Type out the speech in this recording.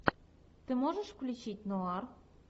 ты можешь включить нуар